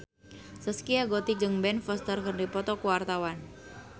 Zaskia Gotik jeung Ben Foster keur dipoto ku wartawan